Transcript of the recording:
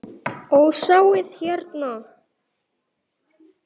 Og sjáið hérna!